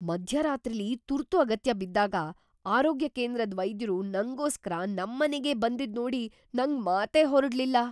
ಮಧ್ಯರಾತ್ರಿಲಿ ತುರ್ತು ಅಗತ್ಯ ಬಿದ್ದಾಗ ಆರೋಗ್ಯ ಕೇಂದ್ರದ್ ವೈದ್ಯರು ನಂಗೋಸ್ಕರ ನಮ್ಮನೆಗೇ ಬಂದಿದ್ನೋಡಿ ನಂಗ್‌ ಮಾತೇ ಹೊರಡ್ಲಿಲ್ಲ.